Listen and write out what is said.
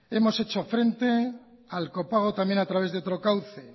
hemos hecho frente al copago también a través de otro cauce